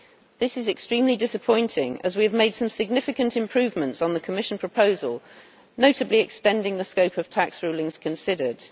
This is extremely disappointing, as we have made some significant improvements on the Commission proposal, notably extending the scope of tax rulings considered.